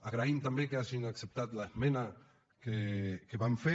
agraïm també que hagin acceptat l’esmena que vam fer